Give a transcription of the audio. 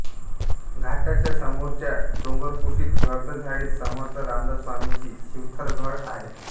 घाटाच्या समोरच्या डोंगरकुशीत गर्द झाडीत समर्थ रामदासस्वामींची शिवथरघळ आहे